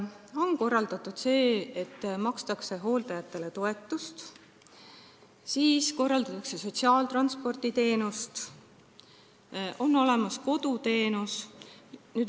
On korraldatud see, et hooldajatele makstakse toetust, korraldatakse sotsiaaltransporditeenust, on olemas koduteenused.